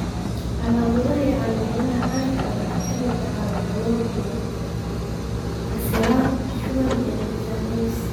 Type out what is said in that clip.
Calaamadaha iyo calaamadaha caanka ah waxaa ka mid ah calool xanuun iyo casiraad, shuban, iyo miisaan lumis.